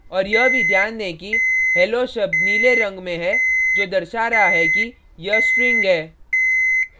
और यह भी ध्यान दें कि hello शब्द नीले रंग में है जो दर्शा रहा है कि यह string है